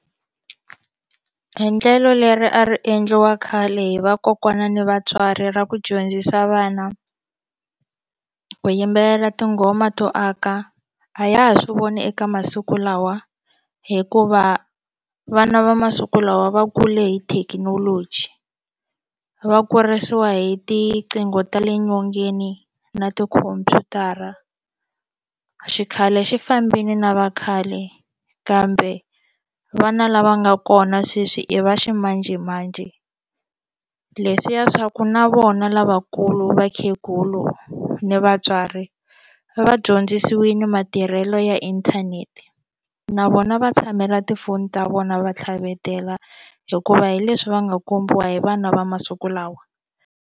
Endlelo leri a ri endliwa khale hi vakokwana ni vatswari ra ku dyondzisa vana ku yimbelela tinghoma to aka a ya ha swi voni eka masiku lawa hikuva vana va masiku lawa va kule hi thekinoloji va kurisiwa hi tiqingho ta le nyongeni na tikhompyutara xikhale xi fambile na vakhale kambe vana lava nga kona sweswi i va ximanjhemanjhe leswiya swa ku na vona lavakulu vakhegulu ni vatswari va dyondzisiwile matirhelo ya inthanete na vona va tshamela tifoni ta vona va tlhavetela hikuva hi leswi va nga kombiwa hi vana va masiku lawa.